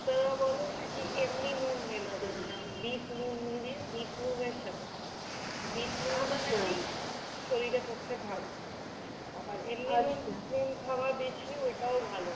ডাক্তাররা বলে নাকি এমনি নুন মেলাবেন না। বিটনুন দিয়ে বিটনুনের সাথে খাবেন। বিটনুন নাকি শরীরের পক্ষে ভালো। আবার এমনি নুন~ নুন খাওয়া বেশি ঐটাও ভালো না।